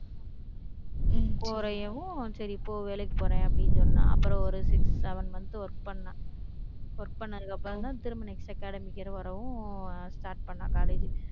உம் குறையவும் சரி, இப்ப வேலைக்கு போறேன், அப்படின்னு சொன்னா. அப்புறம், ஒரு six, seven month work பண்ணா work பண்ணதுக்கு அப்புறம்தான், திரும்ப next academic year வரவும் start பண்ணா college